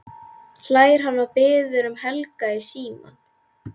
hlær hann og biður um Helga í símann.